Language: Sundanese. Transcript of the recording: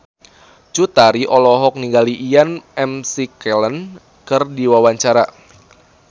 Cut Tari olohok ningali Ian McKellen keur diwawancara